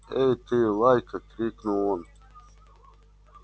эй ты лайка крикнул он